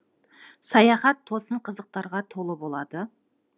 саяхат тосын қызықтарға толы болады